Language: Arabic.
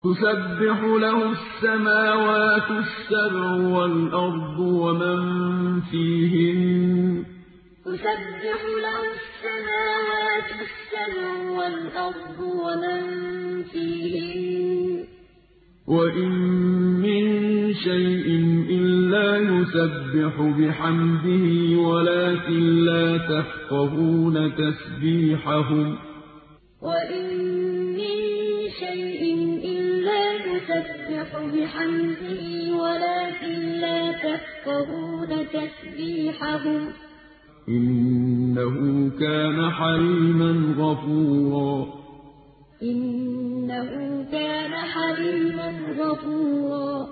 تُسَبِّحُ لَهُ السَّمَاوَاتُ السَّبْعُ وَالْأَرْضُ وَمَن فِيهِنَّ ۚ وَإِن مِّن شَيْءٍ إِلَّا يُسَبِّحُ بِحَمْدِهِ وَلَٰكِن لَّا تَفْقَهُونَ تَسْبِيحَهُمْ ۗ إِنَّهُ كَانَ حَلِيمًا غَفُورًا تُسَبِّحُ لَهُ السَّمَاوَاتُ السَّبْعُ وَالْأَرْضُ وَمَن فِيهِنَّ ۚ وَإِن مِّن شَيْءٍ إِلَّا يُسَبِّحُ بِحَمْدِهِ وَلَٰكِن لَّا تَفْقَهُونَ تَسْبِيحَهُمْ ۗ إِنَّهُ كَانَ حَلِيمًا غَفُورًا